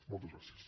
moltes gràcies